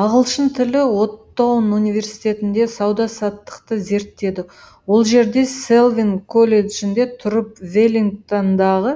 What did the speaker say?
ағылшын тілі оттоун университетінде сауда саттықты зерттеді ол жерде селвин колледжінде тұрып веллингтондағы